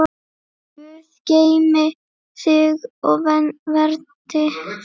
Guð geymi þig og verndi.